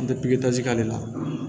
N tɛ pipitazi k'ale la